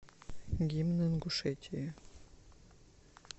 гимн ингушетии